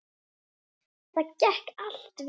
Það gekk allt vel.